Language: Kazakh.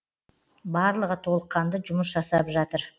барлығы толыққанды жұмыс жасап жатыр